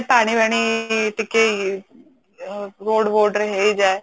ପାନି ବାଣୀ ଟିକେ ହେଇଯାଏ